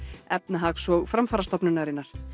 Efnahags og framfarastofnunar